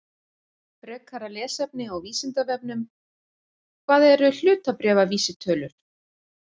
Frekara lesefni á Vísindavefnum: Hvað eru hlutabréfavísitölur?